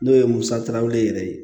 N'o ye musaka weele yɛrɛ ye